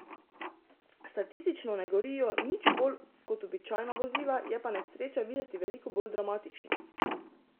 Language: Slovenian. Statistično ne gorijo nič bolj kot običajna vozila, je pa nesreča videti veliko bolj dramatična.